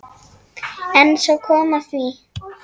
En svo kom að því.